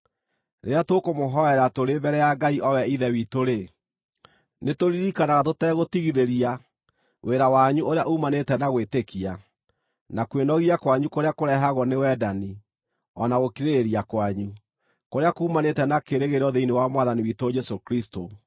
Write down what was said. Rĩrĩa tũkũmũhoera tũrĩ mbere ya Ngai o we Ithe witũ-rĩ, nĩtũririkanaga tũtegũtigithĩria wĩra wanyu ũrĩa uumanĩte na gwĩtĩkia, na kwĩnogia kwanyu kũrĩa kũrehagwo nĩ wendani, o na gũkirĩrĩria kwanyu, kũrĩa kuumanĩte na kĩĩrĩgĩrĩro thĩinĩ wa Mwathani witũ Jesũ Kristũ.